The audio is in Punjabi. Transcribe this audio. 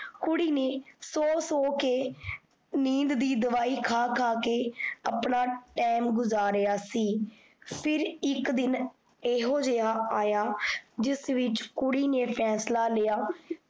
ਕੁੜੀ ਨੇ ਸੋ ਸੋ ਕੇ ਨੀਂਦ ਦੀ ਦਿਵਾਈ ਖਾ ਖਾ ਕੇ ਆਪਣਾ ਟੈਮ ਗੁਜਾਰਿਆ ਸੀ। ਫਿਰ ਇੱਕ ਦਿਨ ਏਹੋ ਜਿਹਾ ਆਏਆ ਜਿਸ ਵਿੱਚ ਕੁੜੀ ਨੇ ਫੈਂਸਲਾ ਲਿਆ